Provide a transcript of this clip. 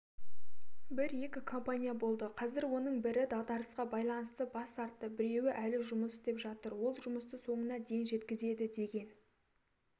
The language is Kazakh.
бір-екі компания болды қазір оның бірі дағдарысқа байланысты бас тартты біреуі әлі жұмыс істеп жатыр ол жұмысты соңына дейін жеткізеді деген